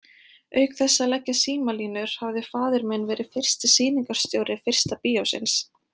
Auk þess að leggja símalínur hafði faðir minn verið fyrsti sýningarstjóri fyrsta bíósins.